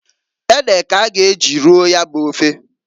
Ede k'a ga eji roo ya bụ ofe.